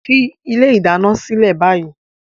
Fi ilé ìdáná sílẹ̀ báyìí!